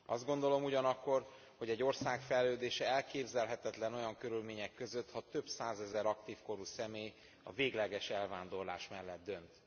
Azt gondolom ugyanakkor, hogy egy ország fejlődése elképzelhetetlen olyan körülmények között, ha több százezer aktív korú személy a végleges elvándorlás mellett dönt.